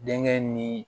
Denkɛ ni